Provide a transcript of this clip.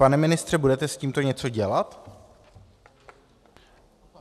Pane ministře, budete s tím něco dělat?